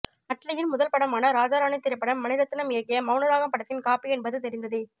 அட்லியின் முதல் படமான ராஜா ராணி திரைப்படம் மணிரத்னம் இயக்கிய மௌனராகம் படத்தின் காப்பி என்பது தெரிந்ததே